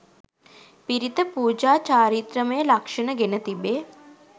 පිරිත පුජා චාරිත්‍රමය ලක්ෂණ ගෙන තිබේ.